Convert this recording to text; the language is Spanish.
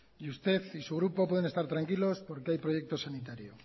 y usted y su grupo pueden estar tranquilos porque hay proyecto sanitario